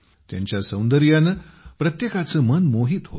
त्यांच्या सौंदर्याने प्रत्येकाचे मन मोहित होते